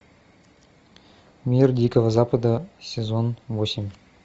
мир дикого запада сезон восемь